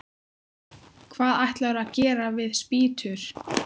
Hvað ætlarðu að gera við spýtur?